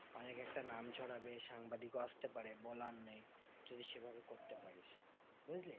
অনেক একটা নাম ছড়াবে সাংবাদিকও আসতে পারে বলার নেই যদি সেভাবে করতে পারিস, বুঝলি?